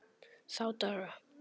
Þá daga